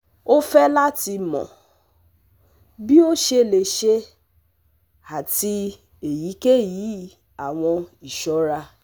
o fẹ lati mọ bi o ṣe le ṣe ati eyikeyi awọn iṣọra